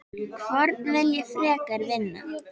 Hvorn vil ég frekar vinna?